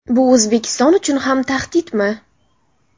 Bu O‘zbekiston uchun ham tahdidmi?.